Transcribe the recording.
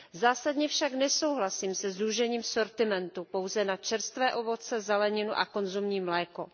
Zásadně však nesouhlasím se zúžením sortimentu pouze na čerstvé ovoce, zeleninu a konzumní mléko.